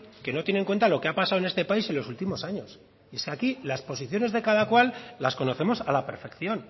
que no tiene en cuenta lo que ha pasado en este país en los últimos años es que aquí las posiciones de cada cual las conocemos a la perfección